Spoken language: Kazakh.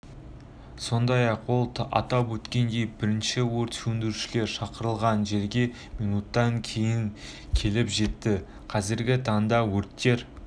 сондай-ақ ол атап өткендей бірінші өрт сөндірушілер шақырылған жерге минуттан кейін келіп жетті қазіргі таңда өрттер